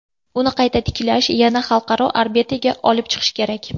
Uni qayta tiklash, yana xalqaro orbitaga olib chiqish kerak.